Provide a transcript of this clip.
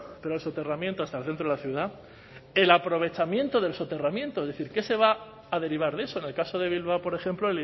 pero el soterramiento hasta el centro de la ciudad el aprovechamiento del soterramiento es decir qué se va a derivar de eso en el caso de bilbao por ejemplo